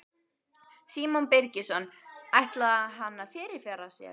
Símon Birgisson: Ætlaði hann að fyrirfara sér?